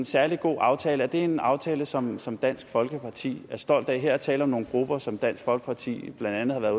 særlig god aftale er det en aftale som som dansk folkeparti er stolt af her er tale om nogle grupper som dansk folkeparti blandt andet har været